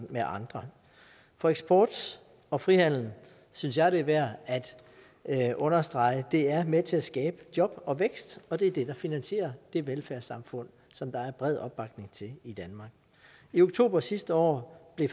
med andre for eksport og frihandel det synes jeg er værd at understrege er med til at skabe job og vækst og det er det der finansierer det velfærdssamfund som der er bred opbakning til i danmark i oktober sidste år blev